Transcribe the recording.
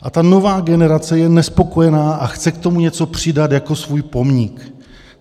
A ta nová generace je nespokojená a chce k tomu něco přidat jako svůj pomník.